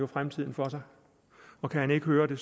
fremtiden for sig og kan han ikke høre det